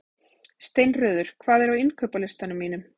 Steinröður, hvað er á innkaupalistanum mínum?